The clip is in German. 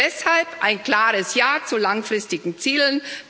Deshalb ein klares Ja zu langfristigen Zielen.